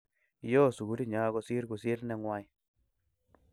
Yoo sugulinyo kosirkusir nengwai